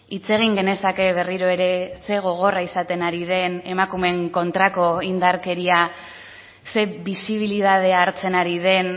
hitz egin genezake berriro ere ze gogorra izaten ari den emakumeen kontrako indarkeria ze bisibilitate hartzen ari den